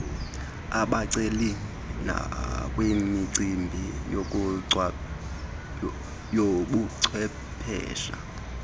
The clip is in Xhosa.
abaceli nakwimicimbi yobuchwephesha